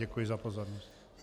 Děkuji za pozornost.